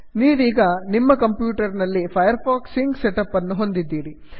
ನೀವೀಗ ನಿಮ್ಮ ಕಂಪ್ಯೂಟರ್ ನಲ್ಲಿ Firefox sync set up ಅನ್ನು ಹೊಂದಿದ್ದೀರಿ